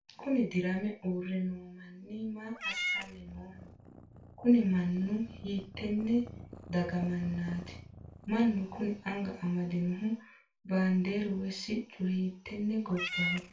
kuni dirame uurre noo manni maa assanni nooho? kuni mannu hiittenne daga mannaati? mannu kuni anga amadinohu baandeeru woy siccu hiittenne gobbaho?